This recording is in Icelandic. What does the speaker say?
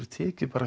tekið